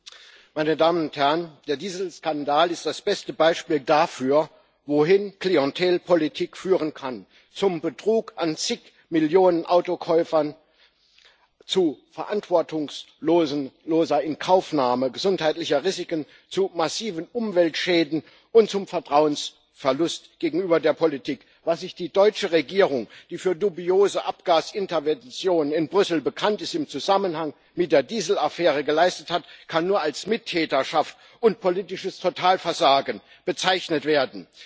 Herr Präsident, meine Damen und Herren! Der Dieselskandal ist das beste Beispiel dafür, wohin Klientelpolitik führen kann Zum Betrug an zig Millionen Autokäufern, zu verantwortungsloser Inkaufnahme gesundheitlicher Risiken, zu massiven Umweltschäden und zum Vertrauensverlust gegenüber der Politik. Was sich die deutsche Regierung, die für dubiose Abgasintervention in Brüssel bekannt ist, im Zusammenhang mit der Dieselaffäre geleistet hat, kann nur als Mittäterschaft und politisches Totalversagen bezeichnet werden.